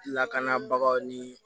Lakanabagaw ni